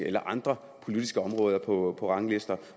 eller andre politiske områder på ranglister